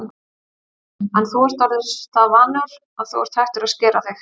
Jóhannes: En þú ert orðinn það vanur að þú ert hættur að skera þig?